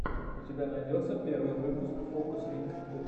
у тебя найдется первый выпуск фокусникд